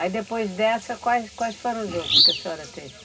Aí depois dessa, quais, quais foram os outros que a senhora teve?